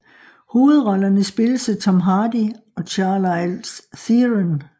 Hovedrollerne spilles af Tom Hardy og Charlize Theron